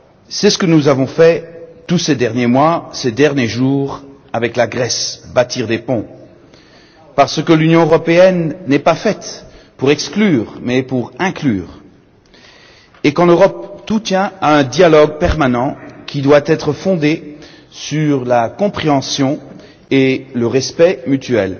C'est ce que nous avons fait tous ces derniers mois, ces derniers jours avec la Grèce bâtir des ponts! Parce que l'Union européenne n'est pas faite pour exclure, mais pour inclure, et qu'en Europe, tout tient à un dialogue permanent qui doit être fondé sur la compréhension et le respect mutuel.